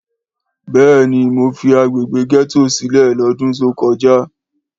Béèni mo fi agbègbè gẹ́tò sílẹ l'ọdun to kọjá